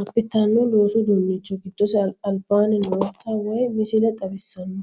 abbitino loosu uduunnicho goddose albaanni noota wayi missile xawissanno.